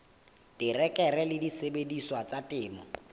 terekere le disebediswa tsa temo